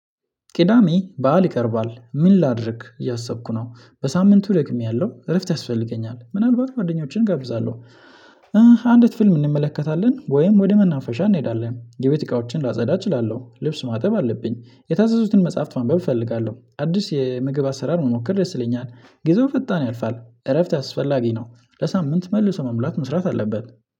ቅዳሜ በዓል ይቀርባል ምን ላድርግ እያሰብኩ ነው በሳምንቱ ደግሜያለሁ እረፍት ያስፈልገኛል ምናልባት ጓደኞችን እጋብዛለሁ። አንዲት ፊልም እንመለከታለን ወይም ወደ መናፈሻ እንሄዳለን የቤት እቃዎችን ላጸዳ እችላለሁ። ልብስ ማጠብ አለብኝ የታዘዙትን መጽሐፍት ማንበብ እፈልጋለሁ። አዲስ የምግብ አሰራር መሞከር ደስ ይለኛል። ጊዜው ፈጣን ያልፋል እረፍት አስፈላጊ ነው። ለሳምንት መልሶ መሙላት መስራት አለበት።